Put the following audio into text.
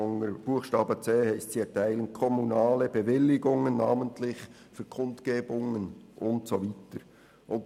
Unter Buchstabe c heisst es, dass diese kommunale Bewilligungen, namentlich «für Kundgebungen [...]», erteilen.